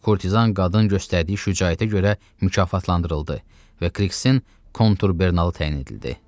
Kurtizan qadın göstərdiyi şücaətə görə mükafatlandırıldı və Kriksen Konturbernalı təyin edildi.